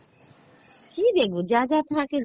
কী দেখবো, যা যা থাকে যা